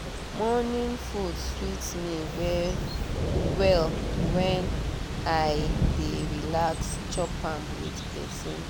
morning food sweet me well when i dey relax chop am with person